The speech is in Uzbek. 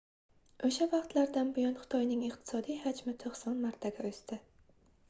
oʻsha vaqtlardan buyon xitoyning iqtisodiy hajmi 90 martaga oʻsdi